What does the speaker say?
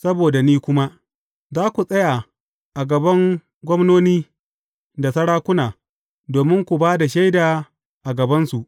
Saboda ni kuma, za ku tsaya a gaban gwamnoni da sarakuna, domin ku ba da shaida a gabansu.